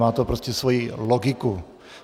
Má to prostě svoji logiku.